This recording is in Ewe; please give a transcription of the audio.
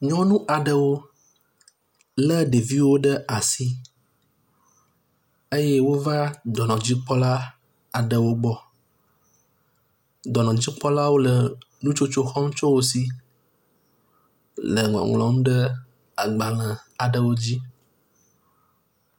Nyɔnu aɖewo lé ɖevi aɖewo ɖe asi eye wova dɔnɔdzikpɔla aɖewo gbɔ. Dɔnɔdzikpɔlawo le nutsotso xɔm tso wo si le ŋɔŋlɔm ɖe agbalẽ aɖewo dzi.